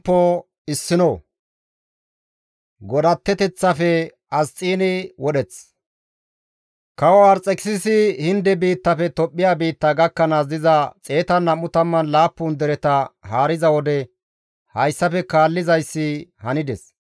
Kawo Arxekisisi Hinde biittafe Tophphiya biitta gakkanaas diza 127 dereta haariza wode hayssafe kaallizayssi hanides;